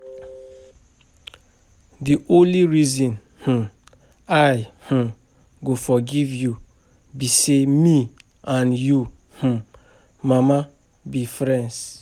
The only reason um I um go forgive you be say me and your um mama be friends